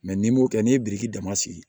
n'i m'o kɛ n'i ye biriki dama sigi